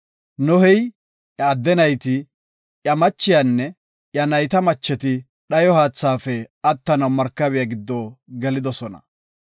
Nohey, iya adde nayti, iya machiyanne iya nayta macheti dhayo haathaafe attanaw markabiya giddo gelidosona.